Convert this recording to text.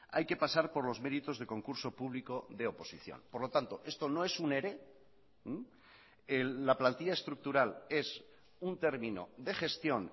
hay que pasar por los méritos de concurso público de oposición por lo tanto esto no es un ere la plantilla estructural es un término de gestión